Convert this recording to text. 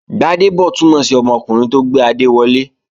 Gbádébọ̀ túnmọ̀ sí ọmọkùnrin tó gbé adé wọlé